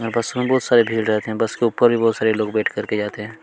यहाँ पे सुबह बहुत सारे भीड़ रहते है बस पर के ऊपर भी बहुत लोग बैठ कर जाते हैं।